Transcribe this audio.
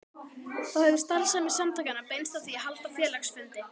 Þá hefur starfsemi samtakanna beinst að því að halda félagsfundi.